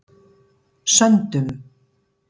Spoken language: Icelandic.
Söndum